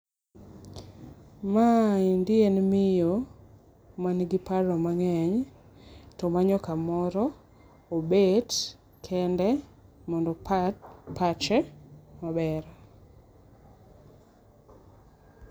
Maendi en miyo ma en gi paro mangeny to omanyo ka moro obet kende mondo opar pache maber.